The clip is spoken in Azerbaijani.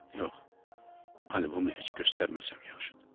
"Yox, albomu heç göstərməsəm yaxşıdır."